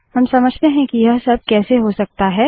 अब समझते हैं कि यह सब कैसे हो सकता है